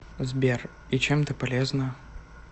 сбер и чем ты полезна